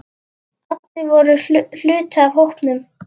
Allir voru hluti af hópnum.